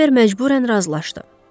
Rambert məcbürən razılaşdı.